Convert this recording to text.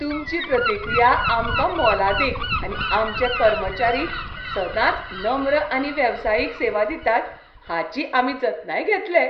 तुमची प्रतिक्रिया आमकां मोलादीक आनी आमचे कर्मचारी सदांच नम्र आनी वेवसायीक सेवा दितात हाची आमी जतनाय घेतले.